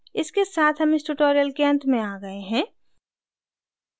इसके साथ हम इस tutorial के अंत में आते हैं